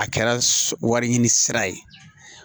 A kɛra wari ɲini sira ye